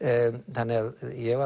þannig að ég